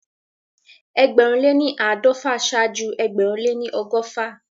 Ẹgbẹ̀rún lé ní àádọ́fà ṣáájú ẹgbẹ̀rún lé ní ọgọ́fà